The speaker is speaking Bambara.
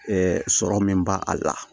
sɔrɔ min b'a a la